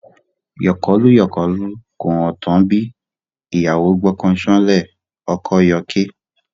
Yọkọlú-yọkọlú, kò ha tán bí? ìyàwó gbọ́kọ ṣánlẹ̀, ọkọ yọké.